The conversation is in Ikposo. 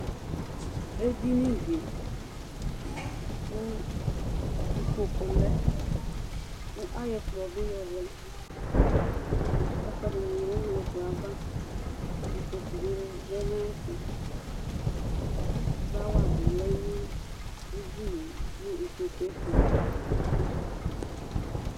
Ɛdiní di kʋ ikpoku lɛ kʋ ayɔ ɛkplɔ bi yɔ lɛ Ɛkʋɛdini bi lɛ nʋ ɛkplɔ ava Ikpoku bi lɛ nʋ ayɛtʋ Flower bi lɛ nʋ ɛdiní ye nʋ ikpoku ye tu